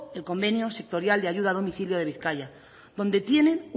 el convenio sectorial de ayuda a domicilio de bizkaia donde tienen